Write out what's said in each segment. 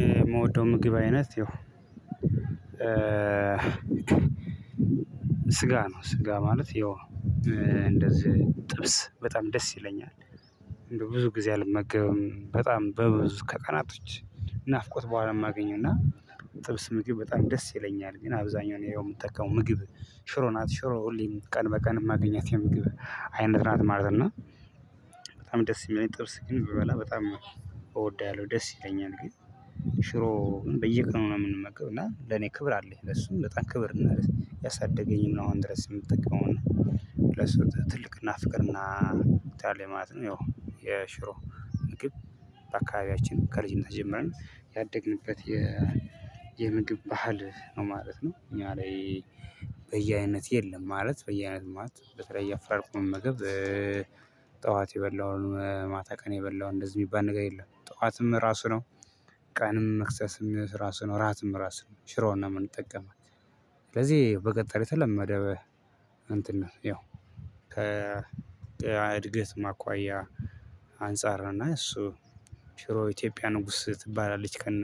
የምወደው ምግብ አይነት ይኸው ስጋ ነው። ስጋ ማለት ይኸው እንደዚህ ጥብስ በጣም ደስ ይለኛል። ብዙ ጊዜ አልመገብም በጣም በብዙ ከቀናቶች። ናፍቆት በኋላ የማገኘው እና ጥብስ ምግብ በጣም ደስ ይለኛል። ግን አብዛኛው እኔ የምጠቀመው ምግብ ሽሮ ናት ሽሮ ሁሌም ቀን በቀን የማገኛት የምግብ አይነት ናት ማለት ነው። በጣም ደስ የሚል ጥብስ ግን ብበላ በጣም እወዳለሁ ደስ ይለኛል። ግን ሽሮ በየቀኑ ነው የምንመገብ እና ለኔ ክብር አለኝ። ለሱም በጣም ክብር ያሳደገኝን ነው አሁን ድረስ የምትጠቀመው ለሱ ትልቅና ፍቅርና ብቻ አለ ማለት ነው። ይው የሽሮ ምግብ በአካባቢያችን ከልጅነት ጀምረን ያደግንበት የ የምግብ ባህል ነው ማለት ነው። እኛ ላይ በየአይነት የለም ማለት በየአይነት ማለት በተለይ አፈራርቆ መመገብ። ጠዋት የበላውን ማታ ቀን የበላውን እንደዚህ የሚባል ነገር የለም ጠዋትም ራሱ ነው። ቀንም መክሰስም ራሱ ነው ራትም ራሱ ነው ሽሮን እምንጠቀም። ስለዚህ በቀጣሪ የተለመደ እንትን ነው። ያው ከእድገት አኳያ አንፃር እና እሱ ሽሮ ኢትዮጵያ ንጉስ ትባላለች። ከነ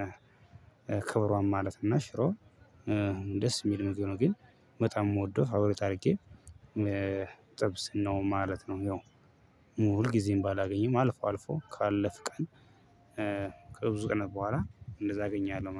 ክብሯም ማለት እና ሽሮ ደስ የሚል ምግብ ግን በጣም የምወደው ፋቮራይት አድርጌ ጥብስ ነው ማለት ነው። ያው ሁል ጊዜም ባላገኘም አልፎ አልፎ ካለፍን ቀን ከብዙ ቀን በኋላ እንደዛ አገኛለሁ